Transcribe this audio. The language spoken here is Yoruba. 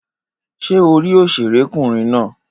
Ṣé orí òṣèré kùnrin náà?